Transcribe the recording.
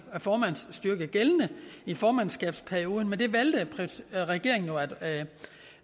formandsstyrke gældende i formandskabsperioden men det valgte regeringen jo at